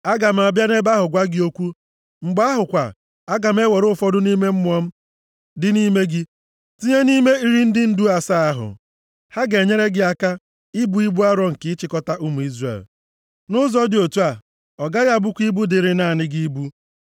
Aga m abịa nʼebe ahụ gwa gị okwu. Mgbe ahụ kwa, aga m ewere ụfọdụ nʼime Mmụọ m dị nʼime gị tinye nʼime iri ndị ndu asaa ahụ. Ha ga-enyere gị aka ibu ibu arọ nke ịchịkọta ụmụ Izrel. Nʼụzọ dị otu a, ọ gaghị abụkwa ibu dịrị naanị gị ibu.